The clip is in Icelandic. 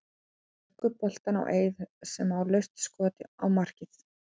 Leggur boltann á Eið sem á laust skot á markið.